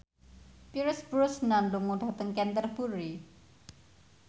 Pierce Brosnan lunga dhateng Canterbury